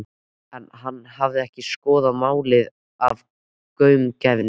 En hann hafði ekki skoðað málið af gaumgæfni.